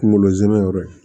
Kunkolo zɛmɛ yɔrɔ ye